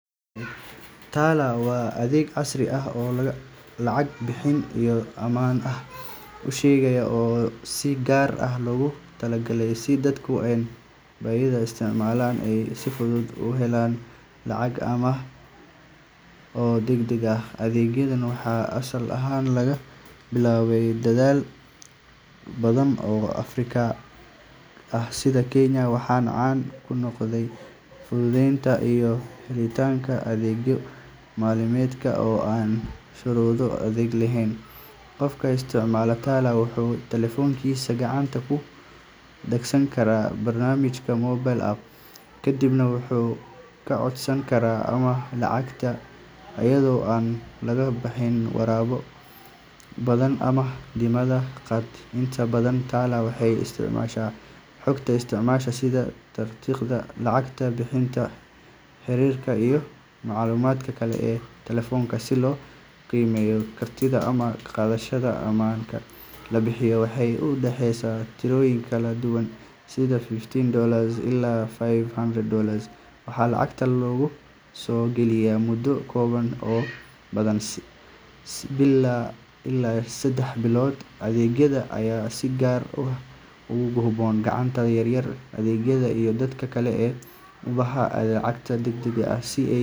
Tala waa adeeg casri ah oo lacag bixinta iyo amaahda ku shaqeeya oo si gaar ah loogu talagalay in dadka aan bangiyada isticmaalin ay si fudud u helaan lacag amaah ah oo degdeg ah. Adeegan waxaa asal ahaan laga bilaabay dalal badan oo Afrika ah sida Kenya, waxaana caan ku noqday fududeynta iyo helitaanka adeegyo maaliyadeed oo aan shuruudo adag lahayn. Qofka isticmaala Tala wuxuu taleefankiisa gacanta ku soo dagsan karaa barnaamijka mobile app, kadibna wuxuu ka codsan karaa amaah lacageed iyadoo aan loo baahnayn waraaqo badan ama dammaanad qaad. Inta badan Tala waxay isticmaashaa xogta isticmaalaha sida taariikhda lacag bixinta, xiriirada, iyo macluumaadka kale ee taleefanka si loo qiimeeyo kartida amaah qaadashada. Amaahda la bixiyo waxay u dhexeysaa tirooyin kala duwan sida fifty dollars ilaa five hundred dollars, waxaana lacagta lagu soo celiyaa muddo kooban oo badanaa ah bil ilaa saddex bilood. Adeegan ayaa si gaar ah ugu habboon ganacsatada yar-yar, ardayda, iyo dadka kale ee u baahan lacag degdeg ah si ay.